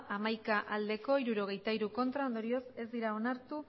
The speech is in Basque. hamaika bai hirurogeita hiru ez ondorioz ez dira onartu